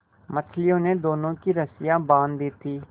मछलियों ने दोनों की रस्सियाँ बाँध दी थीं